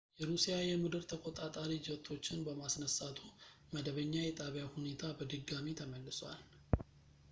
የሩሲያ የምድር ተቆጣጣሪ ጀቶችን በማስነሳቱ መደበኛ የጣቢያው ሁኔታ በድጋሚ ተመልሷል